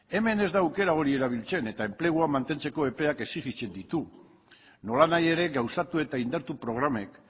hemen ez da aukera hori erabiltzen eta enplegua mantentzeko aukerak exijitzen ditugu nolanahi ere gauzatu eta indartu programek